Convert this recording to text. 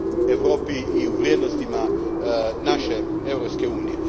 u Europi i u vrijednostima naše Europske unije.